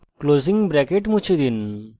closing bracket মুছে ফেলুন